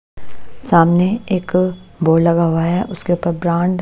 सामने एक बोर्ड लगा हुआ है उसके ऊपर ब्रांड --